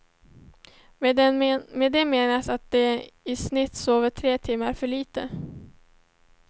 Med det menas att de i snitt sover tre timmar för litet.